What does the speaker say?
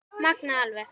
Magnað alveg.